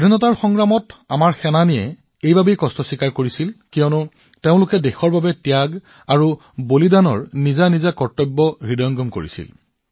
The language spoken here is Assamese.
স্বাধীনতাৰ যুঁজত আমাৰ যোদ্ধাসকলে ইমান কষ্ট ভোগ কৰিছিল কিয়নো তেওঁলোকে ত্যাগ আৰু বলিদানক দেশৰ বাবে তেওঁলোকৰ কৰ্তব্য বুলি বিবেচনা কৰিছিল